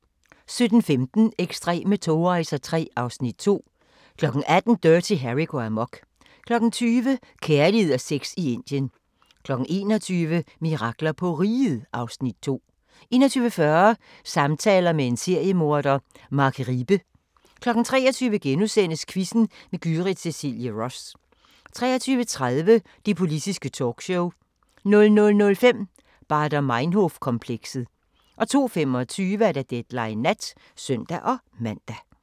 17:15: Ekstreme togrejser III (Afs. 2) 18:00: Dirty Harry går amok 20:00: Kærlighed og sex i Indien 21:00: Mirakler på Riget (Afs. 2) 21:40: Samtaler med en seriemorder – Mark Riebe 23:00: Quizzen med Gyrith Cecilie Ross * 23:30: Det Politiske Talkshow 00:05: Baader Meinhof-komplekset 02:25: Deadline Nat (søn-man)